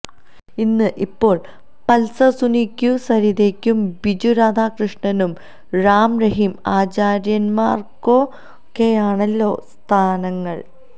ഇന്ന് ഇപ്പോള് പള്സര് സുനിക്കും സരിതക്കും ബിജു രാധാകൃഷ്ണനും റാം റഹീം ആചാര്യമ്മാര്ക്കൊക്കെയാണല്ലോ സ്ഥാനങ്ങള്